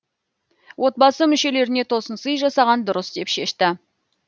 отбасы мүшелеріне тосынсый жасаған дұрыс деп шешті